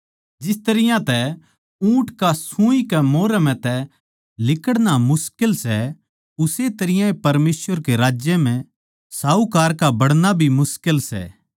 जिस तरियां तै ऊँट का सूई कै मोरै म्ह तै लिकड़ना मुश्किल सै उस्से तरियां परमेसवर के राज्य साहूकार का बड़णा भी मुश्किल सै